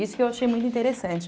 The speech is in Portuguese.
Isso que eu achei muito interessante.